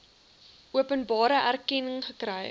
openbare erkenning gekry